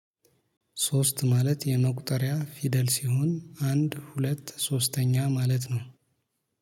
ሶስት ማለት የመቁጠሪያ ፊደል ሲሆን አንድ ሁለት ሶስተኛ ማለት ነው